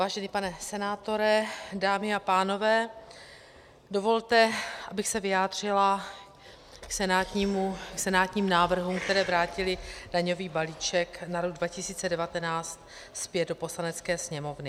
Vážený pane senátore, dámy a pánové, dovolte, abych se vyjádřila k senátním návrhům, které vrátily daňový balíček na rok 2019 zpět do Poslanecké sněmovny.